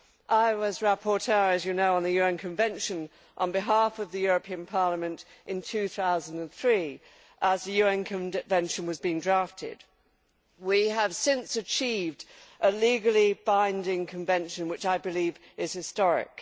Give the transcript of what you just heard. I was rapporteur, as you know, on the UN Convention on behalf of the European Parliament in 2003 as the UN Convention was being drafted. We have since achieved a legally binding convention which, I believe, is historic.